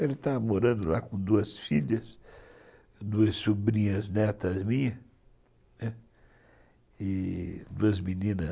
Ele estava morando lá com duas filhas, duas sobrinhas netas minhas e duas meninas,